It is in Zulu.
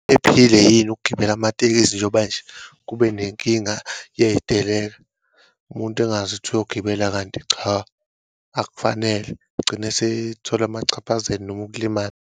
Ephile yini ukugibela amatekisi, njengoba nje kube nenkinga yeyiteleka. Umuntu engazi ukuthi uyogibela kanti cha, akufanele, egcine esethola amachaphazelo noma ukulimala.